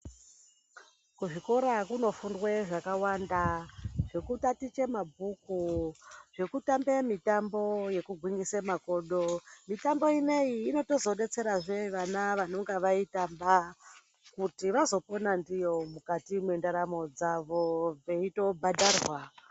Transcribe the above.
Kuzvikora kunofundwe zvakawanda zvekutatiche mabhuku. Zvekutambe mitambo yekugwinyise makodo. Mitambo inoiyi inotozobetserazve vana vanonga vaitamba kuti vazopona ndiyo mukati mwendaramo dzavo veitobhadharwa.